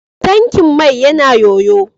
Tankin mai yana ƴoƴo.